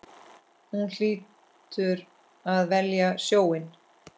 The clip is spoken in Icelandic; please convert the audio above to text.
Hún hlýtur að velja sjóinn.